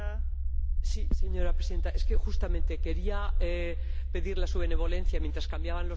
Señora Presidenta, es que justamente quería pedirle su benevolencia mientras cambiaban los comisarios.